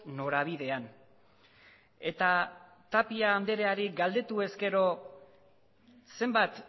norabidean eta tapia andreari galdetu ezkero zenbat